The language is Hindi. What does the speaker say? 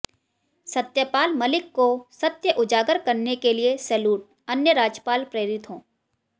सत्यपाल मलिक को सत्य उजागर करने के लिए सेलूट अन्य राजपाल प्रेरित हो